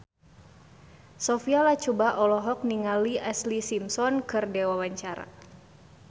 Sophia Latjuba olohok ningali Ashlee Simpson keur diwawancara